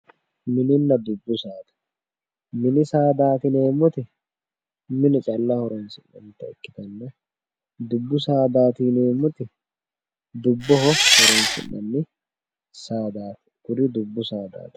mini saadanna dubbu saada, mini saada yineemmori mine calla horonsi'nannire dubbu sadaati yineemmori dubboho horonsi'neemmo kuri dubbu sadaati.